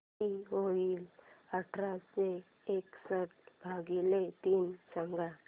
किती होईल आठशे एकसष्ट भागीले तीन सांगा